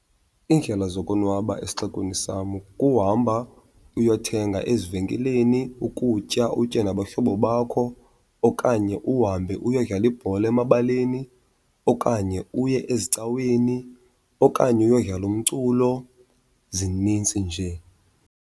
Iindlela zokonwaba esixekweni sam kuhamba uyothenga ezivenkileni ukutya utye nabahlobo bakho, okanye uhambe uyodlala ibhola emabaleni, okanye uye ezicaweni, okanye uyodlala umculo. Zinintsi nje.